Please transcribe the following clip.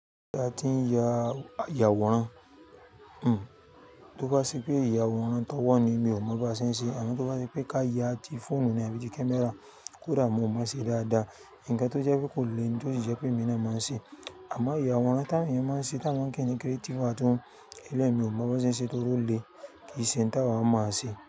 A ti ń ya ìyàwòrán, tó bá ṣe pé ìyàwòrán tó wà nínú mi ò mọ bí a ṣe ń ṣe, àmọ́ tó bá ṣe pé ká ya ti fóònù ni àbí ti kámẹ́rà kódà mi ò mọ ṣe dáadáa. Ǹkan tó jẹ́ pé kò le ni, to ṣi jẹ́ pé emi na máa ń ṣe. Àmọ́ ìyàwòrán tá awọn èèyàn máa ń ṣe tá wọn pe ni creative art eléyi mi ò mọ bí wọ́n ṣe ń ṣe torí ó le kìí ṣe ohun tá wa mo ṣe.